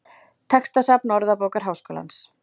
Textasafn Orðabókar Háskólans.